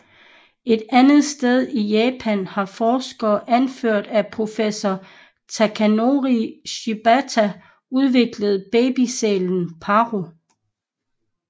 Et andet sted i Japan har forskere anført af professor Takanori Shibata udviklet babysælen Paro